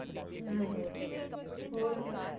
ਹਮ ਹੋਰ ਕੁਝ।